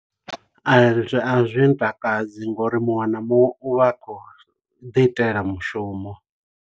A zwi a zwi ntakadzi ngo uri muṅwe na muṅwe u vha a khou ḓi itela mushumo.